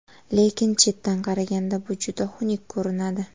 Lekin chetdan qaraganda bu juda xunuk ko‘rinadi.